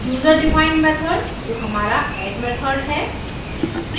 user defined userdefined method जो हमारा add method है